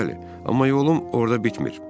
Bəli, amma yolum orda bitmir.